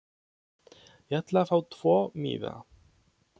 Ég ætla að fá tvo miða.